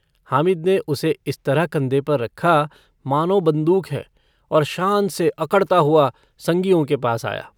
हामिद ने उसे इस तरह कन्धे पर रखा मानों बन्दूक है और शान से अकड़ता हुआ सगियों के पास आया।